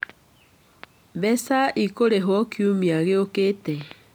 Mbeca ikũrĩhwo kiumia gĩũkĩte.